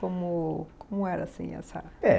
Como, como era assim essa... É